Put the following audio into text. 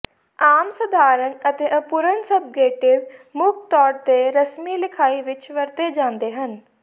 ਆਮ ਸਧਾਰਨ ਅਤੇ ਅਪੂਰਣ ਸਬਂਗੇਟਿਵ ਮੁੱਖ ਤੌਰ ਤੇ ਰਸਮੀ ਲਿਖਾਈ ਵਿੱਚ ਵਰਤੇ ਜਾਂਦੇ ਹਨ